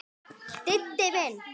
Diddi minn!